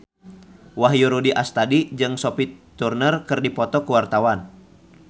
Wahyu Rudi Astadi jeung Sophie Turner keur dipoto ku wartawan